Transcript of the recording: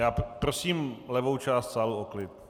Já prosím levou část sálu o klid.